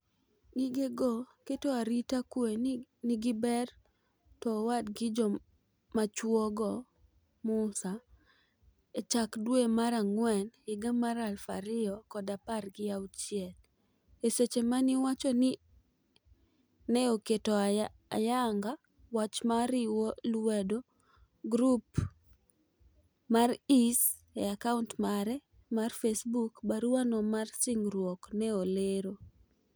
Gige keto arita kwe ne nigi ber to owad gi jomachuo go, Musa, e chak dwe mar ang'wen higa mar aluf ariyo kod apar gi auchiel, e seche ma ni wacho ni ne oketo ayanga wach mar riwo lwedo grup mar IS e account mare mar Facebook, barua no mar singruok ne olero